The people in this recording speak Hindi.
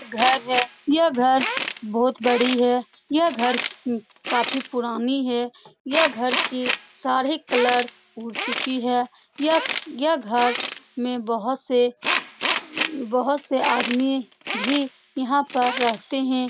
यह घर है। यह घर बहुत बड़ी है। यह घर काफी पुरानी है। यह घर की सारे कलर उड़ चुकी है। यह घर यह घर में बोहोत से अ बोहोत से सारे आदमी भी यहाँ पे रहते हैं।